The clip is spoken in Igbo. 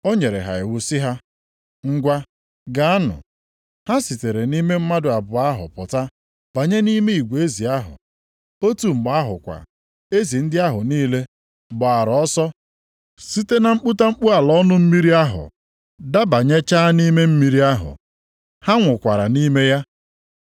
Ọ nyere ha iwu sị ha, “Ngwa, gaanụ!” Ha sitere nʼime mmadụ abụọ ahụ pụta banye nʼime igwe ezi ahụ. Otu mgbe ahụ kwa, ezi ndị ahụ niile gbaara ọsọ site na mkputamkpu ala ọnụ mmiri ahụ dabanyechaa nʼime mmiri ahụ. Ha nwụkwara nʼime ya.